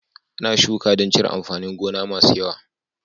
Ana shuka dan cire amfanin gona masu yawa